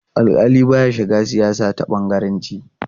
Alƙali ba ya shiga siyasa ta bangaranci.